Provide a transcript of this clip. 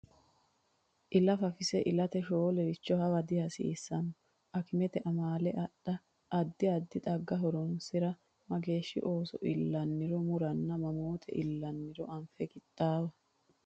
Ila fafise ilate shoolericho hawa dihasiissanno akimete amaale adha, addi addi xagga horonsi’ra, mageeshshi ooso illanniro muranna mamoote illanniro anfe qixxaawa.